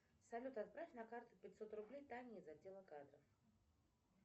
салют отправь на карту пятьсот рублей тане из отдела кадров